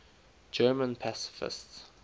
german pacifists